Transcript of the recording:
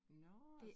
Nåh